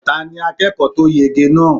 Ta ní akẹ́kọ̀ọ́ tó yege náà?